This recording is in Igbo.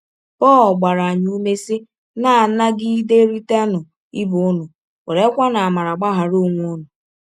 Pọl gbara anyị ụme, sị: “ Na - anagiderịtanụ ibe ụnụ, werekwanụ amara gbaghara ọnwe ụnụ. ”